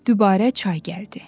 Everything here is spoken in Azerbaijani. Dübarə çay gəldi.